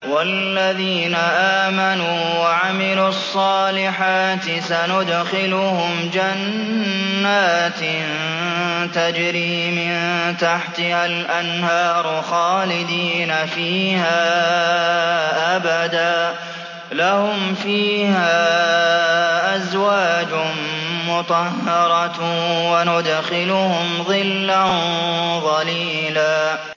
وَالَّذِينَ آمَنُوا وَعَمِلُوا الصَّالِحَاتِ سَنُدْخِلُهُمْ جَنَّاتٍ تَجْرِي مِن تَحْتِهَا الْأَنْهَارُ خَالِدِينَ فِيهَا أَبَدًا ۖ لَّهُمْ فِيهَا أَزْوَاجٌ مُّطَهَّرَةٌ ۖ وَنُدْخِلُهُمْ ظِلًّا ظَلِيلًا